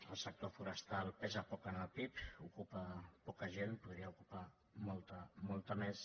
el sector forestal pesa poc en el pib ocupa poca gent en podria ocupar molta més